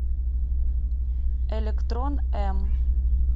электрон м